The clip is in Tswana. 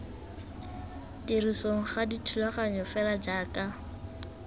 tirisong ga thulaganyo fela jaaka